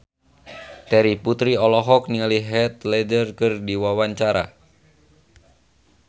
Terry Putri olohok ningali Heath Ledger keur diwawancara